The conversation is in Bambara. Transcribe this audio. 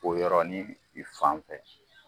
O yɔrɔnin i fan fɛ.